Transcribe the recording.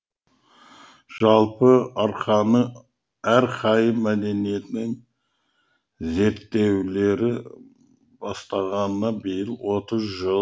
жалпы арқайым мәдениетінің зерттеле бастағанына биыл отыз жыл